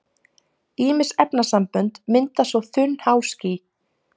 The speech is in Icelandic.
ýmis efnasambönd mynda svo þunn háský